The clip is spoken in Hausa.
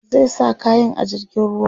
zai sa kayan a jirgin ruwa